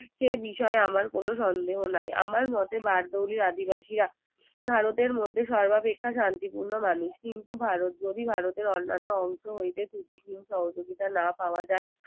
সে বিষয়ে আমার কোনো সন্দেহ নাই আমার মতে বারদৌলির আদিবাসীরা ভারতের মধ্যে সর্বাপেক্ষা শান্তিপূর্ণ মানুষ কিন্তু ভারত যদি ভারতের অন্যান্য অংশ হইতে ত্রুটিহীন সহযোগিতা না পাওয়া যায়